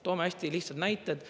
Toome hästi lihtsad näited.